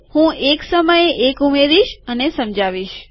હું એક સમયે એક ઉમેરીશ અને સમજાવીશ